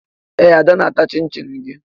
Ee, Ada na-ata chịn-chịn gị